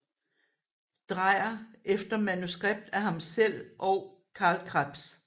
Dreyer efter manuskript af ham selv og Carl Krebs